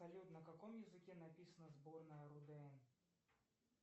салют на каком языке написана сборная рудн